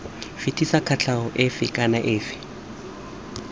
fetisa kotlhao efe kana efe